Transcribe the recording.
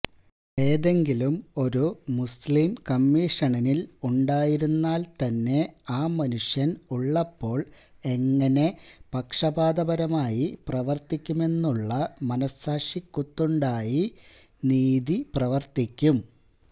ഏതെങ്കിലും ഒരു മുസ്ലിം കമ്മീഷനില് ഉണ്ടായിരുന്നാല്ത്തന്നെ ആ മനുഷ്യന് ഉള്ളപ്പോള് എങ്ങനെ പക്ഷപാതപരമായി പ്രവര്ത്തിക്കുമെന്നുള്ള മനസ്സാക്ഷിക്കുത്തുണ്ടായി നീതി പ്രവര്ത്തിക്കും